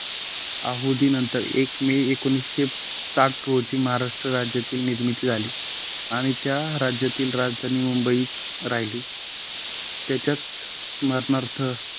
अहोदीनंतर एक मे एकोणीस साठ रोजी महाराष्ट्र राज्यातील निर्मिती झाली आणि त्या राज्यातील राजधानी मुंबईत राहिली. त्याच्याच स्मरणार्थ